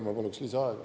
Ma paluksin lisaaega.